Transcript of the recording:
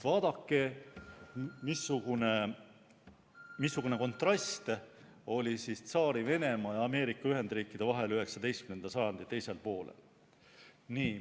Vaadake, missugune kontrast oli Tsaari-Venemaa ja Ameerika Ühendriikide vahel 19. sajandi teisel poolel.